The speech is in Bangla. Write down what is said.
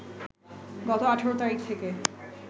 গত ১৮ তারিখ থেকে